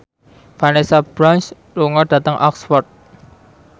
Vanessa Branch lunga dhateng Oxford